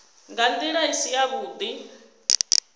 nga ndila i si yavhudi